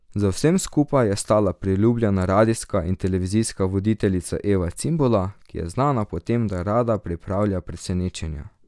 Za vsem skupaj je stala priljubljena radijska in televizijska voditeljica Eva Cimbola, ki je znana po tem, da rada pripravlja presenečenja.